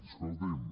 escolti’m